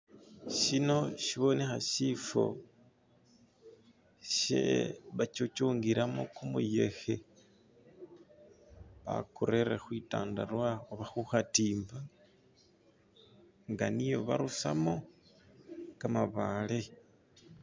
Shino shibonekha shifo she bakyukyungilamo kumuyekhe bakurere khwitandarwa oba khu khatimba nga niyo barusamo kamabaale.